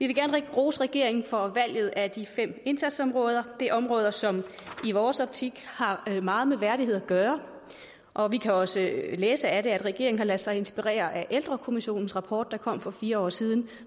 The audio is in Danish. vil gerne rose regeringen for valget af de fem indsatsområder det er områder som i vores optik har meget med værdighed at gøre og vi kan også læse af det at regeringen har ladet sig inspirere af ældrekommissionens rapport der kom for fire år siden og